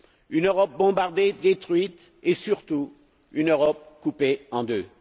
Une Europe bombardée, détruite, et, surtout, une Europe coupée en deux.